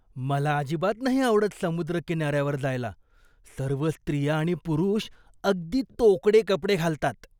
मला अजिबात नाही आवडत समुद्रकिनाऱ्यावर जायला. सर्व स्त्रिया आणि पुरुष अगदी तोकडे कपडे घालतात.